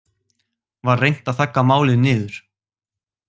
Var reynt að þagga málið niður